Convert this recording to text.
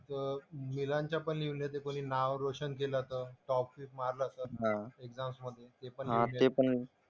पण लिहिलं ते कोणी नाव रोशन केलं तर. टॉपबिप मारलं असेल त एक्झाम्समधे. ते पण लिहून येतं.